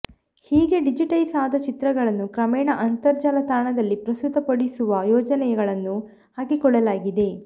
ಹೀಗೆ ಡಿಜಿಟೈಸ್ ಆದ ಚಿತ್ರಗಳನ್ನು ಕ್ರಮೇಣ ಅಂತರ್ಜಾಲ ತಾಣದಲ್ಲಿ ಪ್ರಸ್ತುತಪಡಿಸುವ ಯೋಜನೆಗಳನ್ನೂ ಹಾಕಿಕೊಳ್ಳಲಾಗಿದೆ